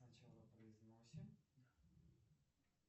сначала произносим